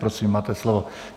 Prosím, máte slovo.